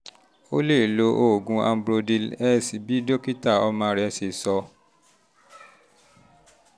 o um lè um lo oògùn ambrodil s bí dókítà ọmọ rẹ um ṣe sọ